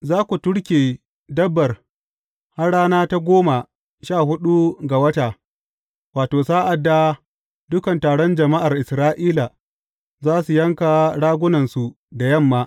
Za ku turke dabbar har rana ta goma sha huɗu ga wata, wato, sa’ad da dukan taron jama’ar Isra’ila za su yanka ragunansu da yamma.